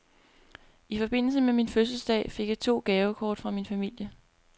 I forbindelse med min fødselsdag fik jeg to gavekort fra min familie.